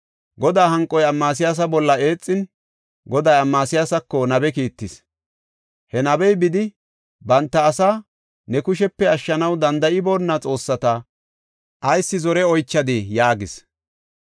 Godaa hanqoy Amasiyaasa bolla eexin, Goday Amasiyaasako nabe kiittis. He nabey bidi, “Banta asaa ne kushepe ashshanaw danda7iboona xoossata ayis zore oychadii?” yaagis.